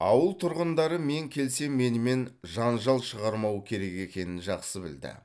ауыл тұрғындары мен келсем менімен жанжал шығармау керек екенін жақсы білді